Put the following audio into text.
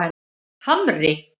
Hamri